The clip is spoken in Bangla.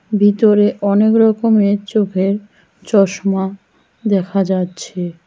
ভিতরে অনেক রকমের চোখের চশমা দেখা যাচ্ছে।